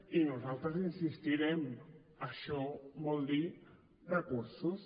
i nosaltres hi insistirem això vol dir recursos